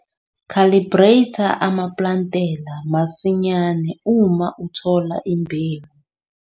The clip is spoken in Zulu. Khalibretha ama-plantela masinyane uma uthola imbewu.